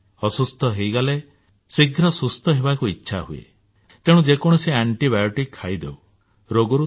ଅସୁସ୍ଥ ହୋଇଗଲେ ଶୀଘ୍ର ସୁସ୍ଥ ହେବାକୁ ଇଚ୍ଛା ହୁଏ ତେଣୁ ଯେ କୌଣସି ଆଣ୍ଟିବାୟୋଟିକ୍ ବା ଜୀବାଣୁରୋଧକ ବଟିକା ଖାଇଦେଉ